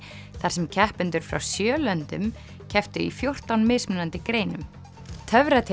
þar sem keppendur frá sjö löndum kepptu í fjórtán mismunandi greinum